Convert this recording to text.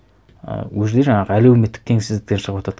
і ол жерде жаңағы әлеуметтік теңсіздіктен шығыватады